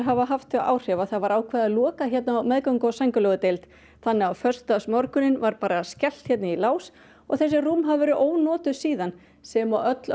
hafa þau áhrif að það var ákveðið að loka hérna á meðgöngu og sængurlegudeild þannig að á föstudagsmorguninn var bara skellt hérna í lás og þessi rúm hérna hafa verið ónotuð síðan sem og öll